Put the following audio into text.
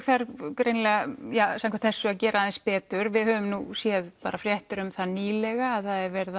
þarf samkvæmt þessu að gera aðeins betur við höfum nú séð fréttir um það nýlega að það er verið